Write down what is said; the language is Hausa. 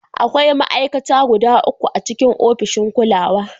Akwai ma'aikata guda uku a cikin ofishin kulawa.